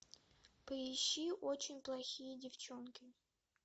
поищи очень плохие девчонки